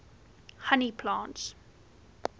honey plants